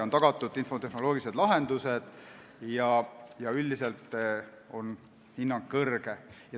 On tagatud infotehnoloogilised lahendused ja üldiselt on hinnang kõrge.